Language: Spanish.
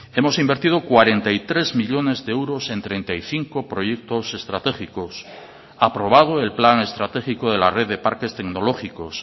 hemos invertido cuarenta y tres millónes de euros en treinta y cinco proyectos estratégicos aprobado el plan estratégico de la red de parques tecnológicos